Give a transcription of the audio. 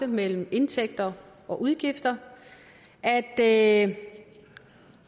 mellem indtægter og udgifter at